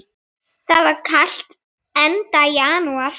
Það var kalt, enda janúar.